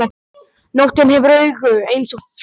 Nóttin hefur augu eins og fluga.